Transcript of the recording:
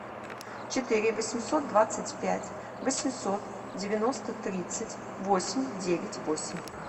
четыре восемьсот двадцать пять восемьсот девяносто тридцать восемь девять восемь